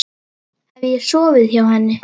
Hef ég sofið hjá henni?